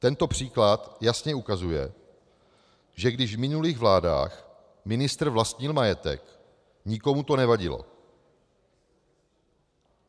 Tento příklad jasně ukazuje, že když v minulých vládách ministr vlastnil majetek, nikomu to nevadilo.